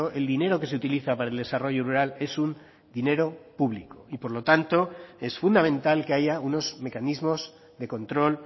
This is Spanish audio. el dinero que se utiliza para el desarrollo rural es un dinero público y por lo tanto es fundamental que haya unos mecanismos de control